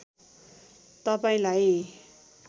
तपाईँलाई